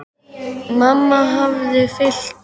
Mamma hafði fylgt